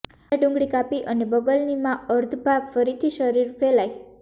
અડધા ડુંગળી કાપી અને બગલની માં અર્ધભાગ ફરીથી શરીર ફેલાય